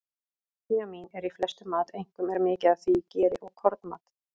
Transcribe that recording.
Þíamín er í flestum mat, einkum er mikið af því í geri og kornmat.